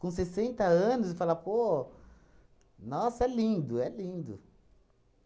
Com sessenta anos e falar, pô... Nossa, é lindo, é lindo.